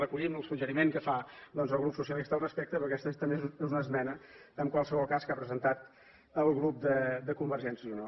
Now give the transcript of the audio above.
recollim el suggeriment que fa doncs el grup socialista al respecte perquè aquesta és també una esmena en qualsevol cas que ha presentat el grup de convergència i unió